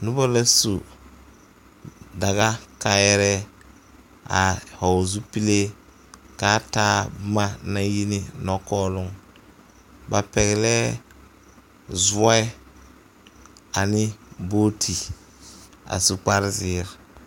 Noba la su daga kaayɛrɛɛ a vɔgl zupila kaa taa boma naŋ yi ne nɔkɔɔloŋ ba pɛglɛɛ zɔɛ ane boote a su kpare zēēre.